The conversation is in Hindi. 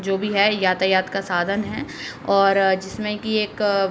जो भी है यातायात का साधन है और जिसमें की एक --